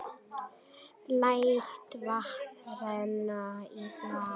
Læt vatn renna í glasið.